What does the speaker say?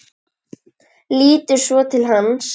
Lítur svo til hans.